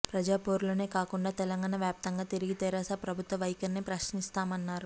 ప్రజాపోరులోనే కాకుండా తెలంగాణ వ్యాప్తంగా తిరిగి తెరాస ప్రభుత్వం వైఖరిపై ప్రశ్నిస్తామన్నారు